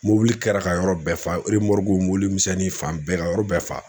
Mobili kɛra ka yɔrɔ bɛɛ fa mobili misɛnnin fan bɛɛ ka yɔrɔ bɛɛ fa.